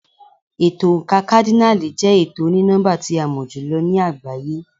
Ètò oǹkà kádínààlì jẹ́ ètò oní nọ́mbà tí a mọ̀ jù lọ ní àgbáyé.